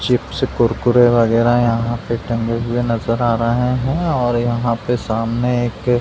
chips Kurkure वगेरा यहाँ पे टंगे हुए नज़र आ रहे है और यहाँ पे सामने एक --